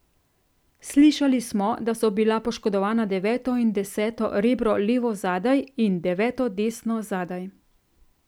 Slišali smo, da so bila poškodovana deveto in deseto rebro levo zadaj in deveto desno zadaj.